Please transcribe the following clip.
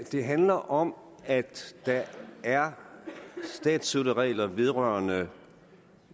det handler om at der er statsstøtteregler vedrørende